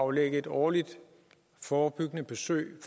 aflægge et årligt forebyggende besøg i